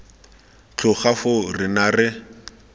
tloga foo re ne ra